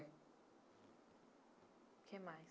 O que mais?